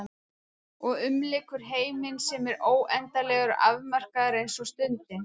Og umlykur heiminn sem er óendanlegur og afmarkaður eins og stundin.